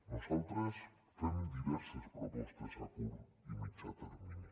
nosaltres fem diverses propostes a curt i mitjà termini